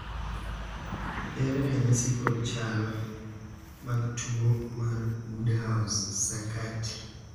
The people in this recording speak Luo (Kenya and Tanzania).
ere ranyisi kod chal mag tuo mar woodhouse sakati